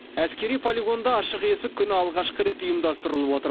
әскери полигонда ашық есік күні алғашқы рет ұйымдастырылып отыр